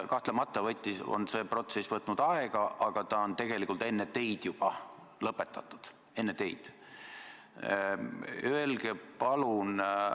Kahtlemata on see protsess võtnud aega, aga see on tegelikult juba enne teid lõpetatud.